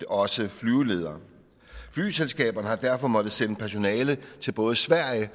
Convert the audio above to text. også af flyveledere flyselskaberne har derfor måttet sende personale til både sverige